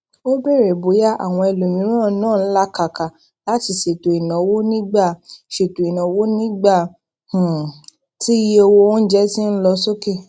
ó béèrè bóyá àwọn ẹlòmíràn náà ń lakaka láti ṣètò ìnáwó nígbà ṣètò ìnáwó nígbà um tí iye owó oúnjẹ ń lọ sókè